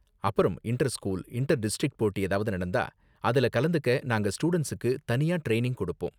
அப்பறம் inter school, inter district போட்டி ஏதாவது நடந்தா, அதுல கலந்துக்க நாங்க ஸ்டூடண்ட்ஸுக்கு தனியா ட்ரைனிங் கொடுப்போம்.